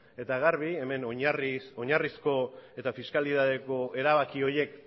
eta garbi hemen oinarrizko eta fiskalitateko erabaki horiek